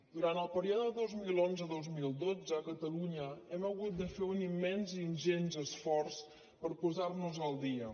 durant el període vint milions cent i dotze mil dotze a catalunya hem hagut de fer un immens ingent esforç per posar nos al dia